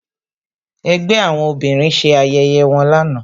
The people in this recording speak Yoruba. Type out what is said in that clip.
Ẹgbẹ́ àwọn obìnrin ṣe ayẹyẹ wọn lánàá